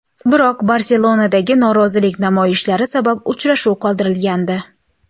Biroq Barselonadagi norozilik namoyishlari sabab uchrashuv qoldirilgandi .